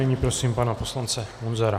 Nyní prosím pana poslance Munzara.